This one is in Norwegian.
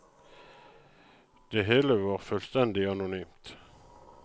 Det hele var fullstendig anonymt.